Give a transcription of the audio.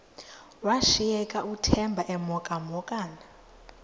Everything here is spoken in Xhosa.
washiyeka uthemba emhokamhokana